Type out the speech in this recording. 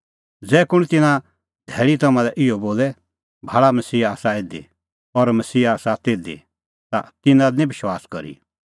ज़ै कुंण तिन्नां धैल़ी तम्हां लै इहअ बोले भाल़ा मसीहा आसा इधी और मसीहा आसा तिधी ता तिन्नां दी निं विश्वास करी